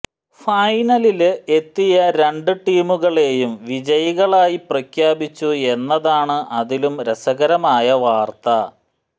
ഫൈനലില് എത്തിയ രണ്ട് ടീമുകളെയും വിജയികളായി പ്രഖ്യാപിച്ചു എന്നതാണ് അതിലും രസകരമായ വാര്ത്ത